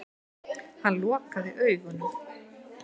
Hann lokaði augunum.